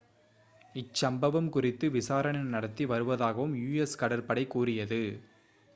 இச்சம்பவம் குறித்து விசாரணை நடத்தி வருவதாகவும் us கடற்படை கூறியது